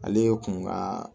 Ale ye kun ka